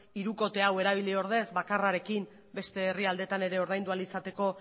hirukote hau erabili ordez bakarrarekin beste herrialdeetan ere ordaindu ahal izateko